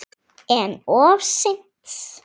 En of seint.